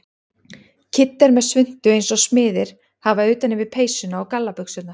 Kiddi er með svuntu eins og smiðir hafa utan yfir peysuna og gallabuxurnar.